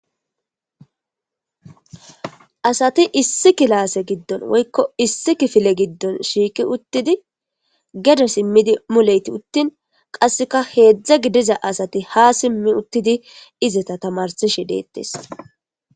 Asati issi kilaase giddon woykko issi kifile giddon shiiki uttidi gede simmidi muleyti uttin qasseka heedzdza gidiza asati ha simmi uttidi izeta tamarsishe deettes.